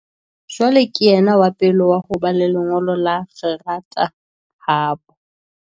Jwale ke yena wa pele wa ho ba le lengolo la kgerata habo.